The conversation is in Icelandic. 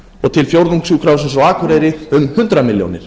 og til fjórðungssjúkrahússins á akureyri um hundrað milljónir